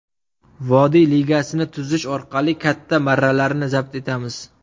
Vodiy ligasini tuzish orqali katta marralarni zabt etamiz.